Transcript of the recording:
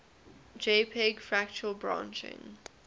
jpg fractal branching